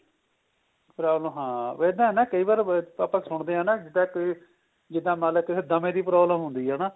problem ਹਾਂ ਵੈਸੇ ਹਨਾ ਕਈ ਵਾਰ ਆਪਾਂ ਸੁਣਦੇ ਆ ਨਾ ਜਿੱਦਾ ਕਈ ਜਿੱਦਾ ਮੰਨ ਲੈ ਕਿਸੇ ਦਮੇ ਦੀ problem ਹੁੰਦੀ ਏ ਹਨਾ